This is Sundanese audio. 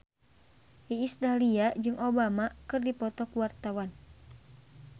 Iis Dahlia jeung Obama keur dipoto ku wartawan